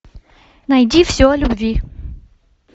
найди все о любви